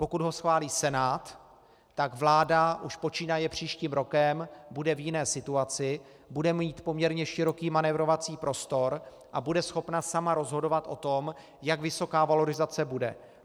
Pokud ho schválí Senát, tak vláda už počínaje příštím rokem bude v jiné situaci, bude mít poměrně široký manévrovací prostor a bude schopna sama rozhodovat o tom, jak vysoká valorizace bude.